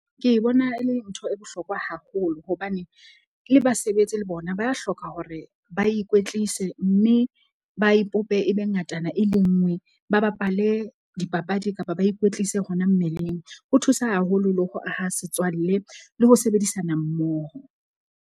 Ke e bona e le ntho e bohlokwa haholo. Hobane le basebetsi le bona ba a hloka hore ba ikwetlise mme ba ipope ebe ngatana e le nngwe. Ba bapale dipapadi kapa ba ikwetlise hona mmeleng. Ho thusa haholo le ho aha setswalle le ho sebedisana mmoho.